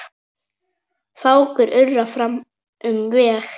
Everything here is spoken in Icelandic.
Fákur urrar fram um veg.